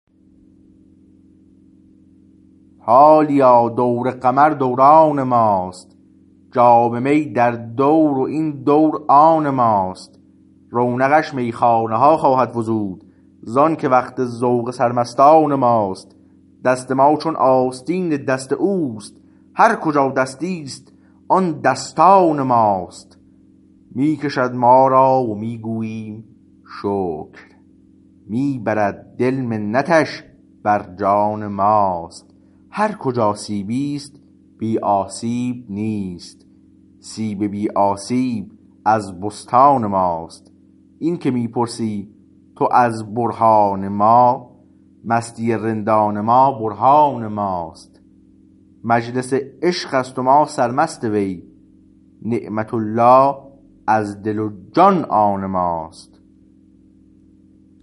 حالیا دور قمر دوران ماست جام می در دور و این دور آن ماست رونقش میخانه ها خواهد فزود زآنکه وقت ذوق سر مستان ماست دست ما چون آستین دست اوست هر کجا دستیست آن دستان ماست می کشد ما را و می گوییم شکر می برد دل منتش بر جان ماست هر کجا سیبی است بی آسیب نیست سیب بی آسیب از بستان ماست اینکه می پرسی تو از برهان ما مستی رندان ما برهان ماست مجلس عشقست و ما سرمست وی نعمت الله از دل و جان آن ماست